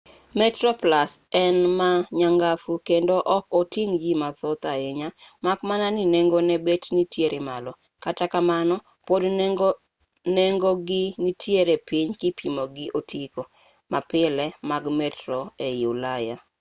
metroplus en ma nyangafu kendo ok oting' ji mathoth ahinya mak mana ni nengone bet nitiere malo kata kamano pod nengogi nitiere piny kipimo gi otiko mapile mag metro ei ulaya